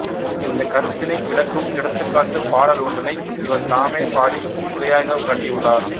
இந்தக் கருத்தினை விளக்கும் எடுத்துக்காட்டுப் பாடல் ஒன்றினை இவர் தாமே பாடி உரையாகக் காட்டியுள்ளார்